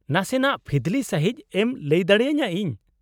-ᱱᱟᱥᱮᱱᱟᱜ ᱯᱷᱤᱫᱞᱤ ᱥᱟᱺᱦᱤᱡ ᱮᱢ ᱞᱟᱹᱭ ᱫᱟᱲᱮᱭᱟᱹᱧᱟᱹ ᱤᱧ ?